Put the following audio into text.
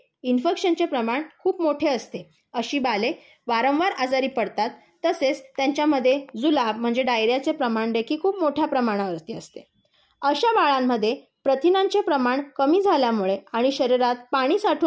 इन्फेक्शनचे प्रमाण खूप मोठे असते. अशी बाळे वारंवार आजारी पडतात. तसेच त्यांच्यामध्ये जुलाब म्हणजे डायरियाचे प्रमाण देखील खूप मोठ्या प्रमाणावरती असते. अशा बाळांमध्ये प्रथिनांचे प्रमाण कमी झाल्यामुळे आणि शरीरात पाणी साठून